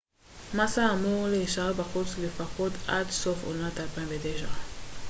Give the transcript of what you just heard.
מאסה אמור להישאר בחוץ לפחות עד סוף עונת 2009